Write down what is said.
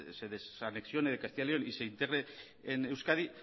se desanexiones de castilla león y se integre en euskadi